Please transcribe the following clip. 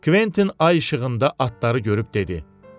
Kventin ay işığında atları görüb dedi: